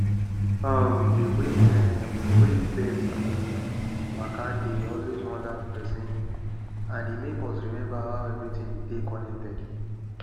um dey way um wey birds dey waka dey always wonder person and e make us remember how everything dey connected